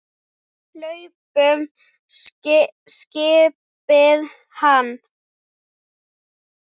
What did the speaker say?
Hlaupum skipaði hann.